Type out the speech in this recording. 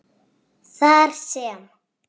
þar sem